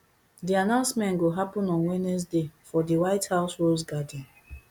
di announcement go happun on wednesday for di white house rose garden